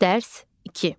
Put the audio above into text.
Dərs 2.